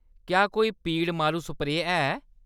क्या कोई पीड़ मारू स्प्रेऽ है ?